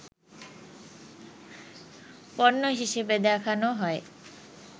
পণ্য হিসেবে দেখানো হয়